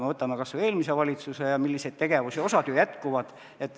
Vaatame kas või eelmist valitsust ja selle tegevusi, osa neist ju jätkub.